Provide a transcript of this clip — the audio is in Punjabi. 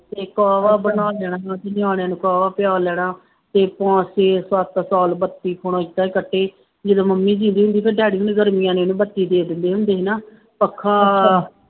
ਅਤੇ ਕੋਹਵਾ ਬਣਾ ਲੈਣਾ, ਨਿਆਣਿਆਂ ਨੂੰ ਕੋਹਵਾ ਪਿਆ ਲੈਣਾ ਅਤੇ ਪੰਜ ਛੇ ਸੱਤ ਸਾਲ ਬੱਤੀ ਬਿਨਾ ਹੁਣ ਏਦਾਂ ਹੀ ਕੱਟੇ, ਜਦੋਂ ਮੰਮੀ ਜਿਉਂਦੀ ਹੁੰਦੀ ਫੇਰ ਡੈਡੀ ਨੂੰ ਗਰਮੀਆਂ ਵੇਲੇ ਬੱਤੀ ਦੇ ਦਿੰਦੇ ਹੁੰਦੇ ਸੀ ਨਾ ਪੱਖਾ